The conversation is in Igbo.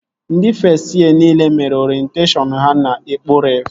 Ndị fest yee nile mere orenteshọn ha na Ekpo Ref